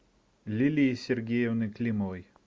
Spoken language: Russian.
лилии сергеевны климовой